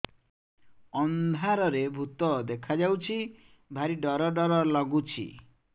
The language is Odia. ଅନ୍ଧାରରେ ଭୂତ ଦେଖା ଯାଉଛି ଭାରି ଡର ଡର ଲଗୁଛି